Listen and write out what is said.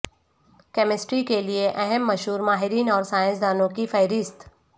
chemistry کے لئے اہم مشہور ماہرین اور سائنسدانوں کی فہرست